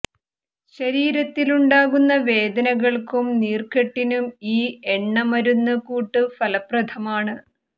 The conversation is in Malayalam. ശരീരത്തിലുണ്ടാകുന്ന വേദനകൾക്കും നീർക്കെട്ടിനും ഈ എണ്ണ മരുന്ന് കൂട്ട് ഫലപ്രദമാണ്